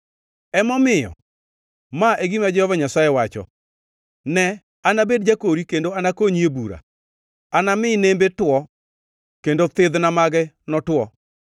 Emomiyo, ma e gima Jehova Nyasaye wacho: “Ne, anabed jakori kendo anakonyi e bura; anami nembe two kendo thidhna mage notwo.